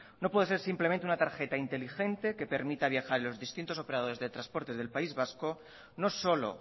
no puede ser simplemente una tarjeta inteligente que permita viajar en los distintos operadores de transportes del país vasco no solo